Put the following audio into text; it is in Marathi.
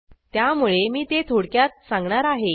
त्यामुळे मी ते थोडक्यात सांगणार आहे